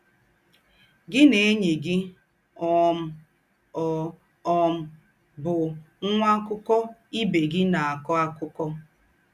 Gị̀ na ényì gị mà um ọ́ um bụ̀ nwà àkụ́kọ̀ ìbè gị ná-àkọ́ àkúkò.